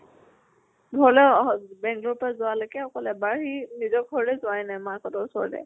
ঘৰলৈ অহ bangalore ৰ পা যোৱা লৈকে অকল এবাৰ সি নিজৰ ঘৰলৈ যোৱাই নাই। মাক হতৰ ওচললৈ।